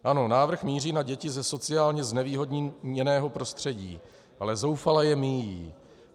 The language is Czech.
Ano, návrh míří na děti ze sociálně znevýhodněného prostředí, ale zoufale je míjí.